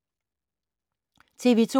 TV 2